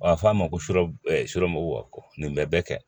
A fɔ a ma ko sura ɛromɔgɔw nin bɛ bɛɛ kɛ